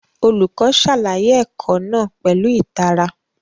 Olùkọ́ ṣàlàyé ẹ̀kọ́ náà pẹ̀lú ìtara